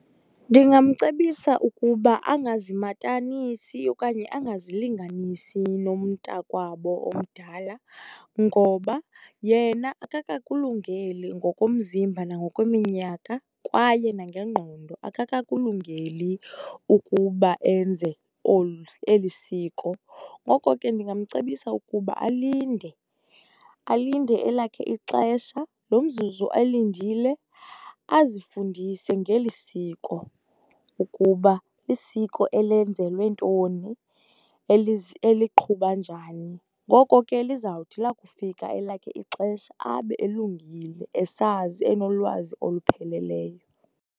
Ndingamcebisa ukuba angazimatanisi okanye angazilinganisi namntakwabo omdala ngoba yena akakakulungeli ngokomzimba nangokweminyaka, kwaye nangengqondo. Akakakulungeli ukuba enze eli siko, ngoko ke ndingamcebisa ukuba alinde, alinde elakhe ixesha. Lo mzuzu elindile azifundise ngeli siko ukuba lisiko elenzelwe ntoni, eliqhuba njani. Ngoko ke lizawuthi lakufika elakhe ixesha abe elungile esazi, enolwazi olupheleleyo.